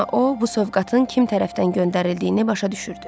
Amma o bu sovqatın kim tərəfdən göndərildiyini başa düşürdü.